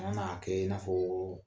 Ɔn n'a kɛ i n'a foo